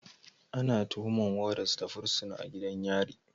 Ana tuhumar Warders da fursuna a gidan yari